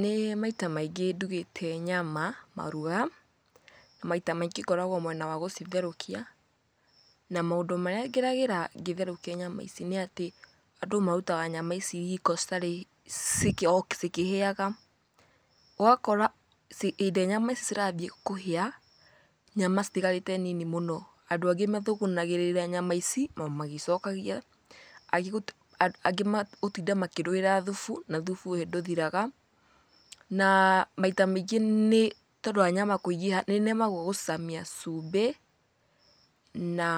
Nĩ maita maingĩ ndugĩte nyama maruga na maita maingĩ ngoragwo mwena wa gũcitherũkia na maũndũ marĩa ngeragĩra ngĩtherũkia nyama ici nĩ atĩ, andũ marutaga nyama ici riko citarĩ, o cikĩhĩaga, ũgakora hĩndĩ ĩrĩa nyama ici cirambia kũhĩa, nyama citigarĩte nini mũno. Andũ angĩ mathũgũnagĩrĩra nyama ici o magĩcokagia, angĩ gũtinda makĩrũĩra thubu na thubu ũyũ ndũthiraga na maita maingĩ nĩ tondũ wa nyama kũingĩha nĩnemagwo gũcicamia cumbĩ na